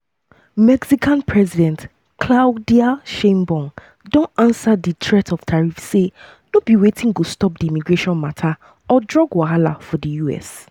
mexican president claudia sheinbaum don ansa di threat of tariffs say no be wetin go stop di migration mata or drug wahala for di us.